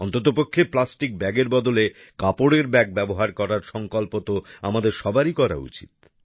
অন্ততপক্ষে প্লাস্টিক ব্যাগের বদলে কাপড়ের ব্যাগ ব্যবহার করার সংকল্প তো আমাদের সবারই করা উচিত